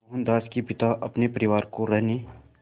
मोहनदास के पिता अपने परिवार को रहने